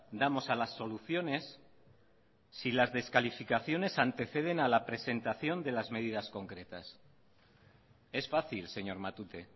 damos a las soluciones si las descalificaciones anteceden a la presentación de las medidas concretas es fácil señor matute